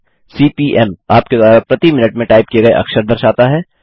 CPM आपके द्वारा प्रति मिनट में टाइप किए गए अक्षर दर्शाता है